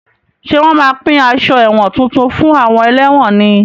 Ṣé wọn má pín aṣọ ẹ̀wọ̀n tuntun fún àwọn ẹlẹ́wọ̀n ni?